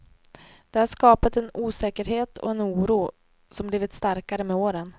Det har skapat en osäkerhet och en oro, som blivit starkare med åren.